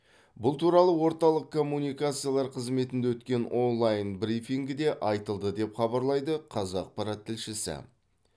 бұл туралы орталық коммуникациялар қызметінде өткен онлайн брифингіде айтылды деп хабарлайды қазақпарат тілшісі